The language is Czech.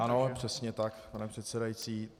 Ano, přesně tak, pane předsedající.